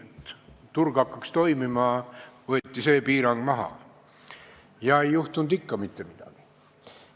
Et turg hakkaks toimima, võeti see piirang maha, aga ikka ei juhtunud mitte midagi.